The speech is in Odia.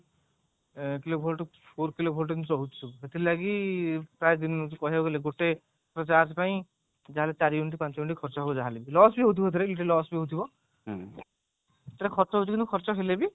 two KV four KV ଏମିତି ରହୁଛି ସବୁ ସେଥି ଲାଗି ପ୍ରାୟ ଗୋଟେ minute charge ପାଇଁ ଚାରି ପାଞ୍ଚ unit ଖର୍ଚ୍ଚ ହବ ଯାହା ହେଲେ ବି loss ବି ହଉଥିବ ସେଥିରେ କିଛି loss ବି ହଉଥିବ କିଛି ଟା ଖର୍ଚ୍ଚ ହଉଥିବ କିନ୍ତୁ ଖର୍ଚ୍ଚ ହେଲେ ବି